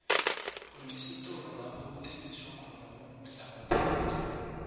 unesitolo lapho kuthengiswa khona ukudla kwaphela